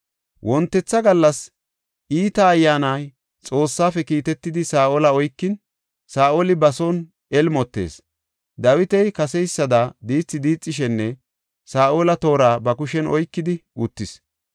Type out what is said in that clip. Wontetha gallas iita ayyaani Xoossafe kiitetidi Saa7ola oykin, Saa7oli ba son elmotees. Dawiti kaseysada diithi diixishin Saa7oli toora ba kushen oykidi uttis.